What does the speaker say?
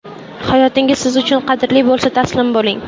Hayotingiz siz uchun qadrli bo‘lsa, taslim bo‘ling.